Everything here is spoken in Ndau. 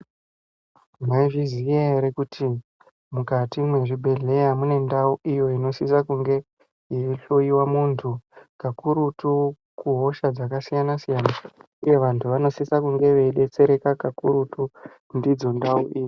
Maizviziya ere kuti mukati mezvibhedhleya munendau iyo inosisa kunge yeihloyiwa muntu ,kakurutu kuhosha dzakasiyana siyana uye vantu vanosisa kunge veidetserana kakurukutu ndidzo ndau idzi.